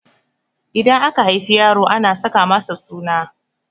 Idan aka haifi yaro ana saka masa suna